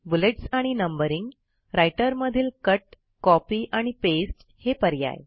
bullets आणि numbering writer मधील cut copy आणि पास्ते हे पर्याय